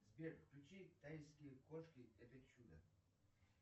сбер включи тайские кошки это чудо